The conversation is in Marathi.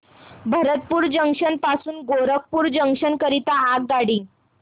भरतपुर जंक्शन पासून गोरखपुर जंक्शन करीता आगगाडी